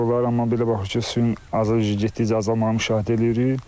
Amma belə baxır ki, suyun getdikcə azalmağını müşahidə eləyirik.